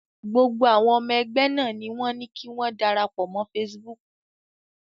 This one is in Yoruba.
Gbogbo àwọn ọmọ ẹgbẹ́ náà ni wọ́n ní kí wọ́n darapọ̀ mọ́ Facebook.